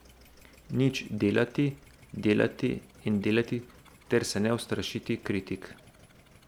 Nič, delati, delati in delati ter se ne ustrašiti kritik.